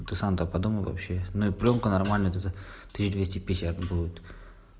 ну ты сам то подумай вообще ну и плёнку нормальную где-то тысяч двести пятьдесят будет